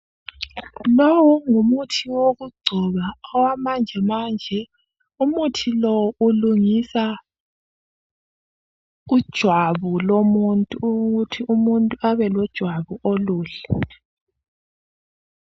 Lowu ngumuthi owokugcoba wamanje manje. Umuthi lo ulungisa ijwabu lomuntu ukuthi umuntu abelojwabu oluhle.